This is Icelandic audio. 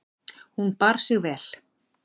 Hún bar sig vel.